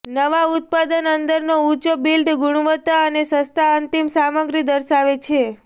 નવા ઉત્પાદન અંદરનો ઊંચો બિલ્ડ ગુણવત્તા અને સસ્તા અંતિમ સામગ્રી દર્શાવે છે